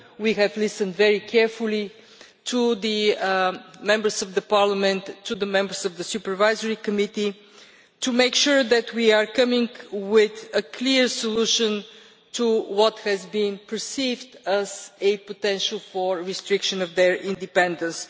We have listened very carefully to the Members of Parliament and to the members of the Supervisory Committee to make sure that we are coming with a clear solution to what has been perceived as a potential restriction of their independence.